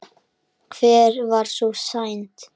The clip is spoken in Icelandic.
En hver var sú synd?